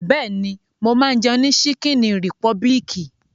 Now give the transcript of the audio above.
Bẹ́ẹ̀ni, mo máa ń jẹun ní ṣíkíní rìpọbìlìkì.